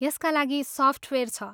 यसका लागि सफ्टवेयर छ।